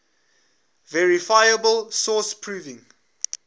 verifiable source proving